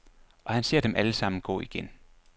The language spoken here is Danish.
Og han ser dem alle sammen gå igen.